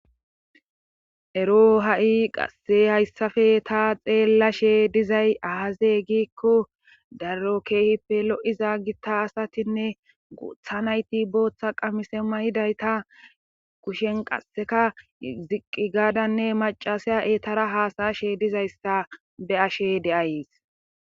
Ero ha'i qasse hayssafe ta xeellashshe dizay ahaze giikko daro keehippe lo'iza gitta asatinne booththa nayti booththa qamise mayidayta kushen qasseka ziqqi gaadanne macasaya eetara haasayashe dizayssa be'ashe de'ays